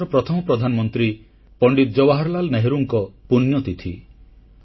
ଭାରତର ପ୍ରଥମ ପ୍ରଧାନମନ୍ତ୍ରୀ ପଣ୍ଡିତ ଜବାହାରଲାଲ ନେହେରୁଙ୍କ ପୁଣ୍ୟତିଥି